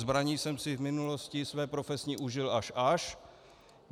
Zbraní jsem si v minulosti své profesní užil až až.